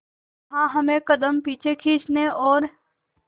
जहां हमें कदम पीछे खींचने और